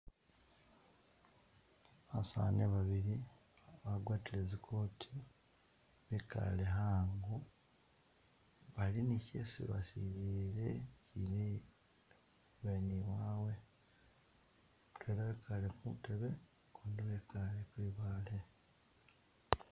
Basani babili bagwatile zikooti bikale hango bali ni kyesi basilile ibweni wawe mudwela ekale kutebe mudwela ekale kwibaale.